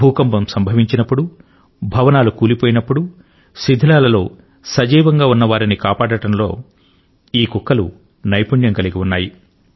భూకంపం సంభవించినప్పుడు భవనాలు కూలిపోయినప్పుడు శిధిలాల లో సజీవంగా ఉన్న వారిని కాపాడడంలో ఉండటం లో ఈ కుక్కలు నైపుణ్యం కలిగిఉన్నాయి